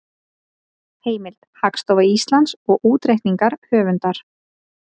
Heimild: Hagstofa Íslands og útreikningar höfundar.